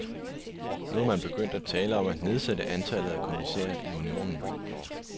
Nu er man begyndt at tale om at nedsætte antallet af kommissærer i unionen.